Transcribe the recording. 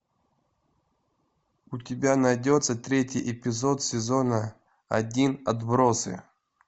у тебя найдется третий эпизод сезона один отбросы